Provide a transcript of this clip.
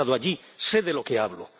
he estado allí, sé de lo que hablo.